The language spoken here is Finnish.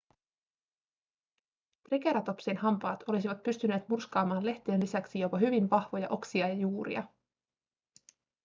triceratopsin hampaat olisivat pystyneet murskaamaan lehtien lisäksi jopa hyvin vahvoja oksia ja juuria